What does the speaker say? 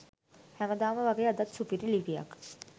හැමදාම වගේ අදත් සුපිරි ලිපියක්